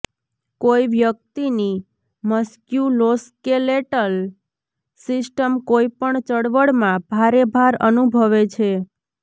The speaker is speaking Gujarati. કોઈ વ્યક્તિની મસ્ક્યુલોસ્કેલેટલ સિસ્ટમ કોઈપણ ચળવળમાં ભારે ભાર અનુભવે છે